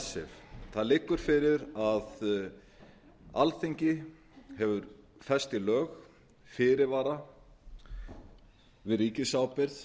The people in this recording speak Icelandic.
icesave það liggur fyrir að alþingi hefur fest í lög fyrirvara við ríkisábyrgð